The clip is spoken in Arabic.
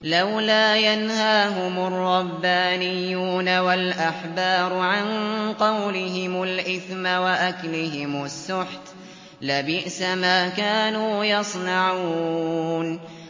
لَوْلَا يَنْهَاهُمُ الرَّبَّانِيُّونَ وَالْأَحْبَارُ عَن قَوْلِهِمُ الْإِثْمَ وَأَكْلِهِمُ السُّحْتَ ۚ لَبِئْسَ مَا كَانُوا يَصْنَعُونَ